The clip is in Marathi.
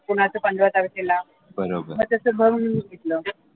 कोणाचं पंधरा तारखेला म तस भरून घेतलं.